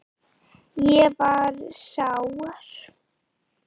Ég var sár.